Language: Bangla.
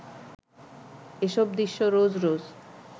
এসব দৃশ্য রোজ রোজ